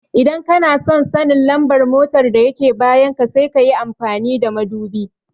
Idan kanason sanin lambar mota da yake bayan ka sai kayi amfani da madubi